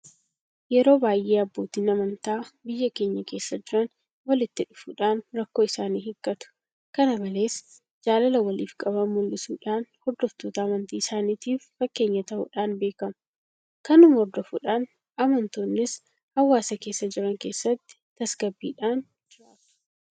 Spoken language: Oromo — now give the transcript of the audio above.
Yeroo baay'ee abbootiin amantaa biyya keenya keessa jiran walitti dhufuudhaan rakkoo isaanii hiikkatu. Kana malees jaalala waliif qaban mul'isuudhaan hordoftoota amantii isaaniitiif fakkeenya ta'uudhaan beekamu. Kanuma hordofuudhaan amantoonnis hawaasa keessa jiraatan keessatti tasgabbiidhaan jiraatu.